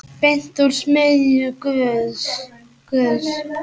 Beint úr smiðju Guðs.